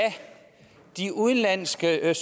der er